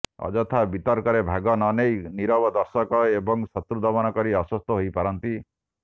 ଅଯଥା ବିତର୍କରେ ଭାଗ ନ ନେଇ ନିରବ ଦର୍ଶକ ଏବଂ ଶତ୍ରୁ ଦମନ କରି ଆଶ୍ୱସ୍ତ ହୋଇପାରନ୍ତି